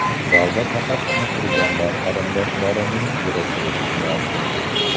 Zalda faqatgina qurbonlar qarindoshlarining yig‘isi eshitilardi.